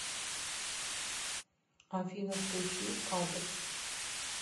афина включи кадр